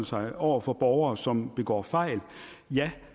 sig over for borgere som begår fejl ja